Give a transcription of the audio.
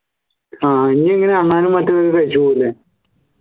ആഹ് ഇനി ഇങ്ങനെ അണ്ണാനും മറ്റും ഒക്കെ കഴിച്ചു പോല്ലേ